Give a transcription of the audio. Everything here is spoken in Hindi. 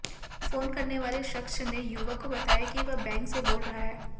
फोन करने वाले शख्स ने युवक को बताया कि वह बैंक से बोल रहा है